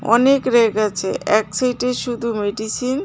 অনেক ব়্যাক আছে এক সাইডে শুধু মেডিসিন .